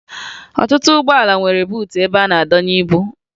Ọtụtụ ụgbọala nwere buutu ebe a na-adọnye ibu